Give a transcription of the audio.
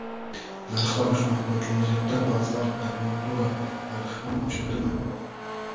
Narxlar oshmoqda, kelajakda bazalt armatura narxi ham oshadimi?